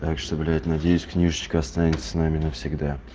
так что блять надеюсь книжечка останется с нами навсегда